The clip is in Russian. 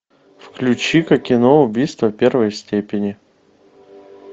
включи ка кино убийство первой степени